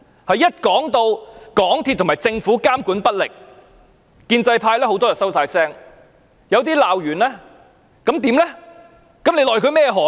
當提到港鐵公司和政府監管不力，建制派很多議員會"收聲"，有些會作出指責，但罵完又如何呢？